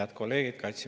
Head kolleegid!